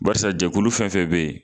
Barisa jɛkulu fɛn fɛn bɛ yen